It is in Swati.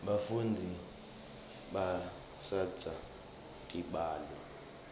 bafundzi batsandza tibalo